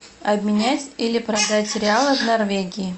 обменять или продать реалы в норвегии